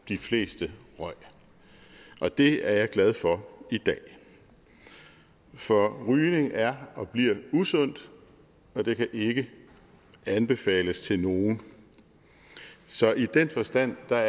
de fleste røg og det er jeg glad for i dag for rygning er og bliver usundt og det kan ikke anbefales til nogen så i den forstand er